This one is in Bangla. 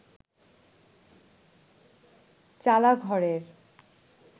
চালা ঘরের